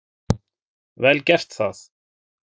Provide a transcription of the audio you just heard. Vel gert það.